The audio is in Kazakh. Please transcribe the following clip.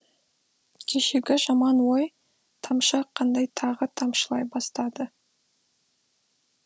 кешегі жаман ой тамшы қандай тағы тамшылай бастады